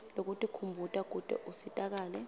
lwekutikhumbuta kute usitakale